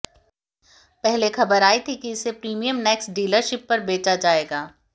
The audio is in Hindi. पहले खबर आई थी की इसे प्रीमियम नेक्स डीलरशीप पर बेचा जाएगा